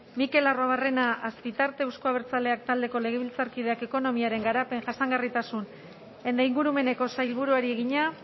mikel arruabarrena azpitarte euzko abertzaleak taldeko legebiltzarkideak ekonomiaren garapen jasangarritasun eta ingurumeneko sailburuari egina